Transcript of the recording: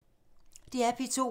DR P2